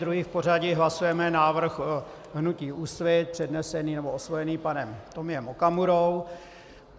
Druhý v pořadí hlasujeme návrh hnutí Úsvit, přednesený nebo osvojený panem Tomiem Okamurou.